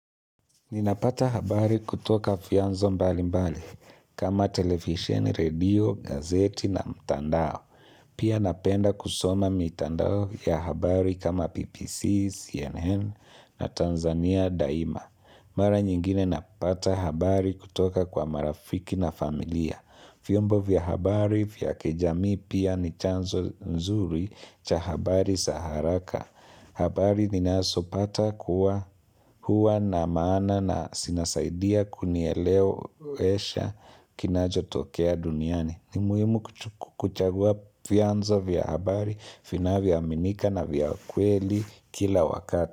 Ninapata habari kutoka vyanzo mbali mbali kama televisheni, redio, gazeti na mtandao. Pia napenda kusoma mitandao ya habari kama BBC, CNN na Tanzania Daima. Mara nyingine napata habari kutoka kwa marafiki na familia. Vyombo vya habari vya kijamii pia ni chanzo nzuri cha habari za haraka. Habari ninazopata kuwa huwa na maana na zinasaidia kunielewesha kinachotokea duniani. Ni muhimu kuchagua vyanzo vya habari, vinavyoaminika na vya kweli kila wakati.